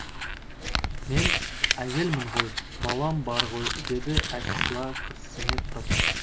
мен әйелмін ғой балам бар ғой деді әсила күрсіне тұрып